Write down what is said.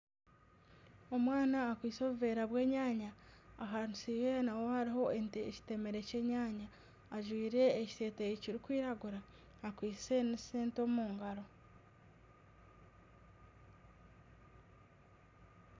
Omwana akwitse obuveera bw'enyaanya ahansi yeye hariho ekitemere ky'enyaanya. Ajwire ekiteteyi kirikwiragura, akwitse n'esente omungaro.